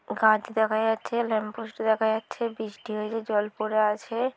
গাছ দেখা যাচ্ছে ল্যাম্পপোস্ট দেখা যাচ্ছে বৃষ্টি হয়েছে জল পড়ে আছে।